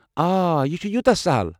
آ، یہِ چھُ یوٗتاہ سہَل۔